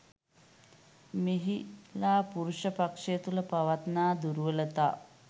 මෙහිලා පුරුෂ පක්‍ෂය තුළ පවත්නා දුර්වලතා